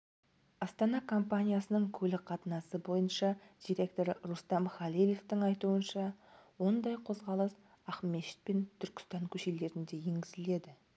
астана компаниясының көлік қатынасы бойынша директоры рустам халилевтің айтуынша ондай қозғалыс ақмешіт пен түркістан көшелерінде енгізіледі